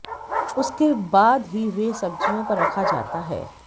उसके बाद ही वे सब्जियों पर रखा जाता है